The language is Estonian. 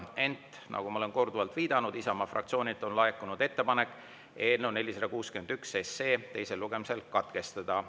Ent nagu ma olen korduvalt viidanud, Isamaa fraktsioonilt on laekunud ettepanek eelnõu 461 teine lugemine katkestada.